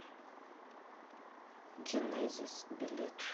генезис билет